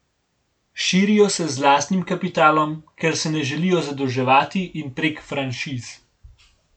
Širijo se z lastnim kapitalom, ker se ne želijo zadolževati, in prek franšiz.